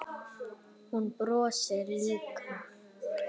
Hún brosir líka.